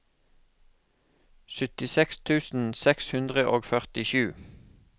syttiseks tusen seks hundre og førtisju